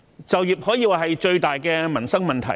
就業可說是最大的民生問題。